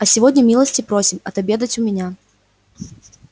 а сегодня милости просим отобедать у меня